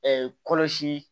kɔlɔsi